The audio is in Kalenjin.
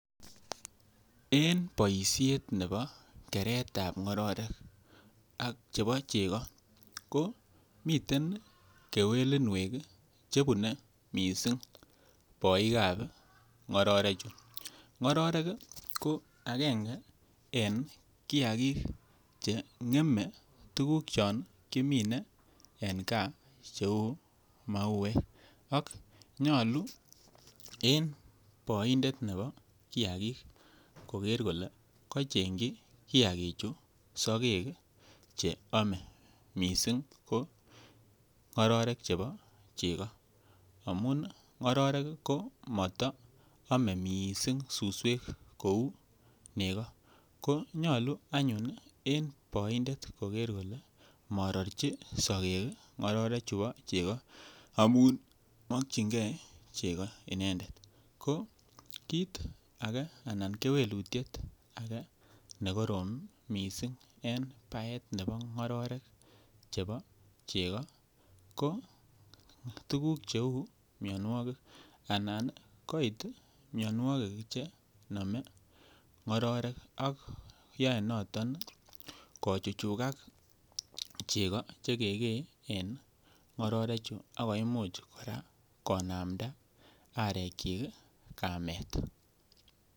Moswoknatetab ab kasari ko ki koib tuguk anan boisionik Che kororon ak cheyachen en kokwet muswoknotet ko ki koib boisionik Che kororon mising kosir cheyachen moswoknatetab kasari ko ki kotoret bik Oleo en ngalek cheu chebo somanet boisien bik moswoknatet kotesentai boisionikwak chebo somanet ak komuch kora koyaen moswoknatet tiemutikwak ki koboisien kora serkalit ab emet moswoknatet nebo kasari kokoitoen boisionikwak chebo komonut koityi bik en komoswek chebo gaa moswoknatetab kasari kora en kokwet ko ki keboisien en ngalalet nebo bandap tai kiboi kora en ngalek chebo bolatet ak keboisien kora en konetisiet nebo bik cheu temik anan olon miten konetutik alak Che ketesentai